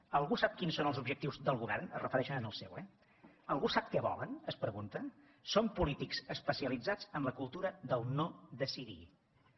algú sap quins són els objectius del govern es refereixen al seu eh algú sap què volen es pregunta són polítics especialitzats en la cultura del no decidir